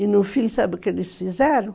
E no fim, sabe o que eles fizeram?